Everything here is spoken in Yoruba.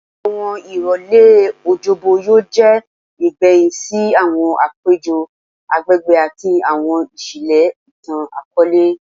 Awọn irọlẹ Ọjọbọ yoo jẹ igbẹhin si awọn apejọ agbegbe ati awọn iṣẹlẹ itan-akọọlẹ